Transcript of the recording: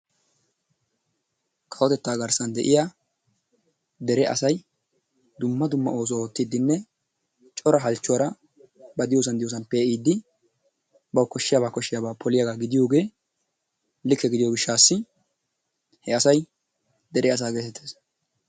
Kawotettaa garssan de'iya dere asay dumma dumma oosuwa ootiidinne cora halchuwaara ba diyoosan diyoosan pee'iidi bawu koshiyaaba koshiyaba poliyagss gidiyooge likke gidiyo gishaassi he asay dere asaa geetettees.